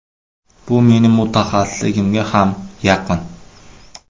Bu mening mutaxassisligimga ham yaqin.